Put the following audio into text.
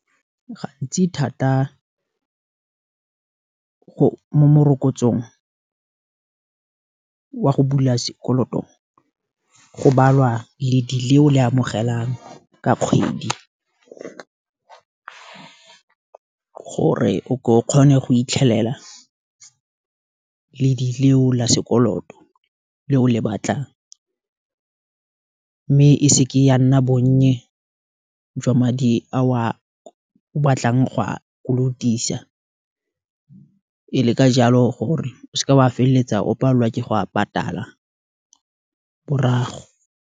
Gantsi thata morokotsong, wa go bula sekoloto, go balwa ledi lo le amogelang ka kgwedi, gore o kgone go itlhelela ledi leo, la sekoloto, le o le batlang, mme e seke ya nna bonnye, jwa madi a o a batlang go a kolotisa, e le ka jalo, gore o seke wa feleletsa o palelwa ke go a patala, morago.